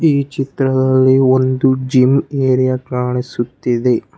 ಈ ಚಿತ್ರದಲ್ಲಿ ಒಂದು ಜಿಮ್ ಏರಿಯಾ ಕಾಣಿಸುತ್ತಿದೆ.